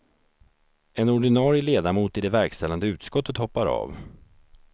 En ordinarie ledamot i det verkställande utskottet hoppar av.